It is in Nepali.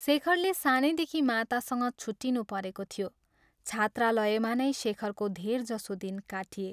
शेखरले सानैदेखि मातासँग छुट्टिनुपरेको थियो छात्रालयमा नै शेखरको धेरजसो दिन काटिए।